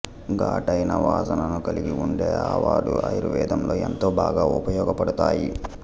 ఘాటైన వాసనను కలిగి ఉండే ఆవాలు ఆయుర్వేదంలో ఎంతో బాగా ఉపయోగపడతాయి